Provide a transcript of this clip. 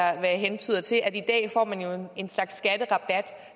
jeg hentyder til i dag får man jo en slags skatterabat